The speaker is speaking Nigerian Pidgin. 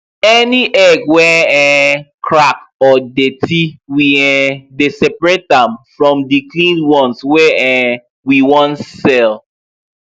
any egg wey um crack or dirty we um dey separate am from the clean ones wey um we wan sell